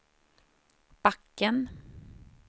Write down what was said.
backen